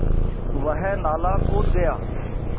वह नाला कूद गया